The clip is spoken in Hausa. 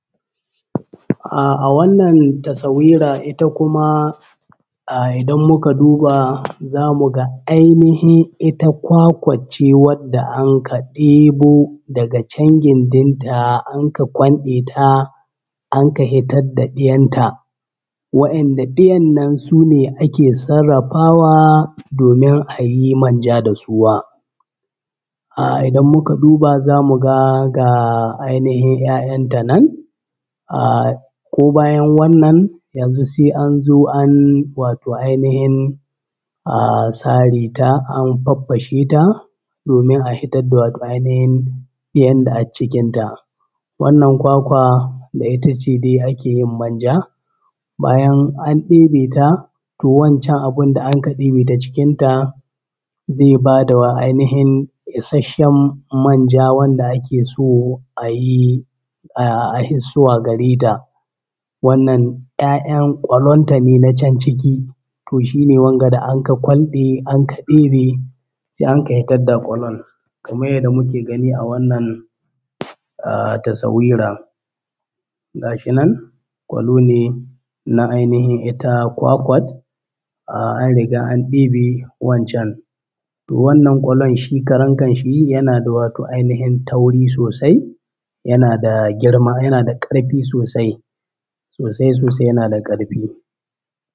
A wannan tasawira ita kuma idan muka duba zamu ga ita ainihin ita kwakwac ce wanda aka ɗebo daga can gindinta anka kwanɗeta anka hitad da ɗiyanta, wa’inda ɗiyan nan sune anka sarrafawa domin a yi manja da suwa. Idan muka duba za mu ga ga ainihin ‘ya’yanta nan ahh ko bayan wannan yanzu sai anzo an wato anihin ahhh sare ta an faffashe ta domin a hitad da wato ainihin ɗiyan da accikinta. Wannan kwakwa da ita ce dai ake yin manja, bayan an ɗebe ta to wancan abin da anka ɗebe ta cikinta zai ba da wa ainihin isasshen manja wanda ake so a yi a hissuwa gare ta. Wannan ‘ya’yan ƙwallonta ne na can ciki, to shi ne wanga da anka kwanɗe anka ɗebe sai anka hitad da ƙwallon kamar yanda muke gani a wannan tasawira. Ga shi nan ƙwallo ne na ainihin ita kwakwan an riga an ɗebe wancan. Wannan ƙwallon shi karan kan shi yana da wato ainihin tauri sosai, yana da girma, yana da ƙarfi sosai, sosai sosai yana da ƙarfi.